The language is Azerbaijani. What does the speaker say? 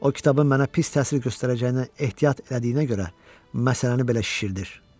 O kitabı mənə pis təsir göstərəcəyindən ehtiyat elədiyinə görə məsələni belə şişirdir.